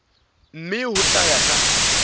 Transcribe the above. mme ho tla ya ka